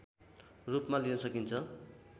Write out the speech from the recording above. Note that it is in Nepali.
रूपमा लिन सकिन्छ